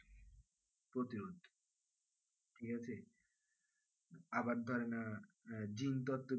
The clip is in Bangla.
ঠিক আছে আবার ধরেন আহ জীন দত্ত